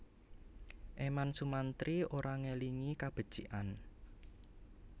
Eman Sumantri ora ngelingi kabecikan